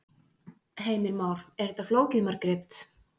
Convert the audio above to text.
Heimir Már: Er þetta flókið Margrét?